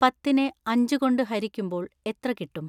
പത്തിനെ അഞ്ച് കൊണ്ട് ഹരിക്കുമ്പോൾ എത്ര കിട്ടും